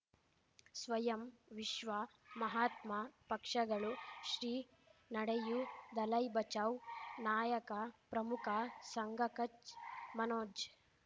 ಸ್ವಯಂ ವಿಶ್ವ ಮಹಾತ್ಮ ಪಕ್ಷಗಳು ಶ್ರೀ ನಡೆಯೂ ದಲೈ ಬಚೌ ನಾಯಕ ಪ್ರಮುಖ ಸಂಘ ಕಚ್ ಮನೋಜ್